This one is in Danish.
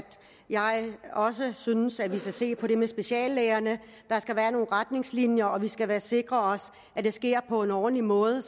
jeg også synes at vi skal se på det med speciallægerne der skal være nogle retningslinjer og vi skal sikre os at det sker på en ordentlig måde